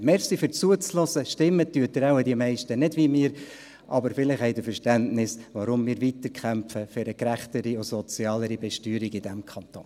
Danke fürs Zuhören, stimmen werden wohl die meisten nicht wie wir, aber vielleicht haben Sie Verständnis, weshalb wir weiterkämpfen für eine gerechtere und sozialere Besteuerung in diesem Kanton.